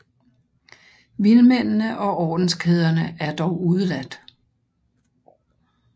Vilmændene og ordenskæderne er dog udeladt